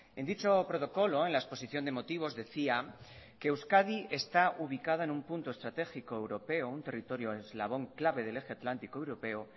en dicho protocolo en la exposición de motivos decía que euskadi está ubicada en un punto estratégico europeo un territorio eslabón clave del eje atlántico europeo